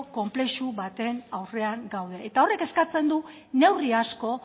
konplexu baten aurrean gaude eta horrek eskatzen du neurri asko